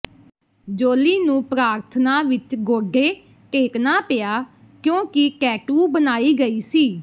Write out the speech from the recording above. Jolie ਨੂੰ ਪ੍ਰਾਰਥਨਾ ਵਿਚ ਗੋਡੇ ਟੇਕਣਾ ਪਿਆ ਕਿਉਂਕਿ ਟੈਟੂ ਬਣਾਈ ਗਈ ਸੀ